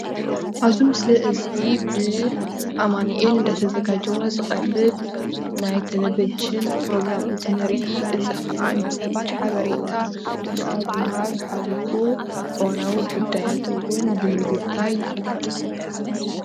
ኣብዚ ምስሊ እዙይ ብኣማኒኤል እናተዘጋጂወ እንትቀርብ ናይ ቴሎቨዠን ፕሮግራም እንትንርኢ እዚ ከዓ ንሰባት እዋናዊ ሓቤሬታ ከብ ሞሃብ ሓሊፉ እዋናዊ ጉዳያት ውን ብምዝታይ ይፍለጥ።